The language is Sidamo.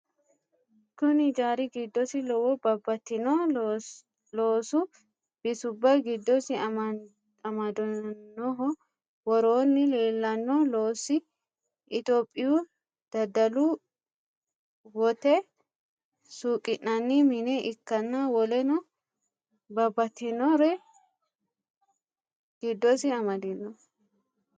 Kuni ijari gidosi lowo babatitino loosu bisuba gidosi amadanoho woroni lelano loosi ithyophyu dadalu wote suqinanni mine ikan woleno babatinore gidosi amadino